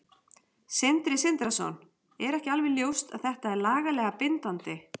Sindri Sindrason: Er ekki alveg ljóst að þetta er lagalega bindandi?